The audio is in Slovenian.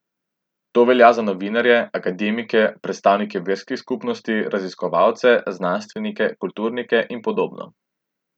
To velja za novinarje, akademike, predstavnike verskih skupnosti, raziskovalce, znanstvenike, kulturnike in podobno.